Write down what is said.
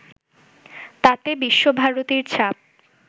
তাতে বিশ্বভারতীর ছাপ